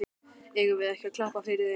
Eigum við ekki að klappa fyrir þeim?